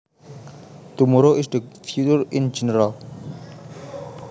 Tomorrow is the future in general